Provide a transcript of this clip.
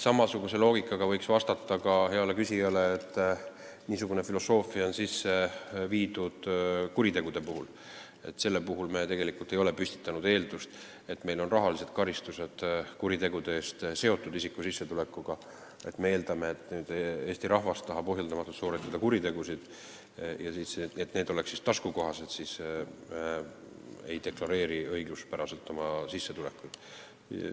Samasugusest loogikast lähtudes võiks heale küsijale vastata, et niisugune filosoofia on sisse viidud ka kuritegude puhul, kusjuures me ei ole püstitanud eeldust, et kui rahalised karistused kuritegude eest on seotud sissetulekuga, siis me eeldame, et Eesti rahvas tahab ohjeldamatult sooritada kuritegusid ja selleks, et see oleks taskukohane, ei deklareeri õiguspäraselt oma sissetulekuid.